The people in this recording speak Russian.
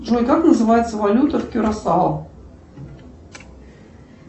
джой как называется валюта в кюрасао